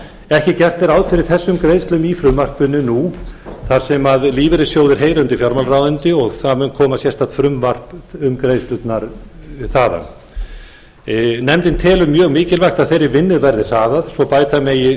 ekki er gert ráð fyrir þessum greiðslum í frumvarpi þessu þar sem lífeyrissjóðir heyra undir fjármálaráðuneyti sem mun leggja fram sérstakt frumvarp um greiðslurnar nefndin telur mikilvægt að þeirri vinnu verði hraðað svo bæta megi